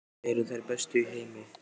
Þetta eru þær bestu í heimi!